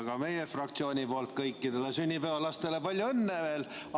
Ka meie fraktsiooni poolt kõikidele sünnipäevalastele palju õnne veel!